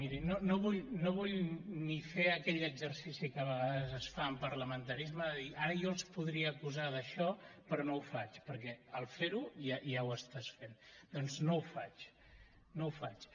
mirin no vull ni fer aquell exercici que a vegades es fa en parlamentarisme de dir ara jo els podria acusar d’això però no ho faig perquè al fer ho ja ho estàs fent doncs no ho faig no ho faig